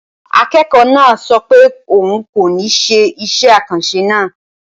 Akẹ́kọ̀ọ́ náà sọ pé òun kò ní ṣe iṣẹ́ àkànṣe náà.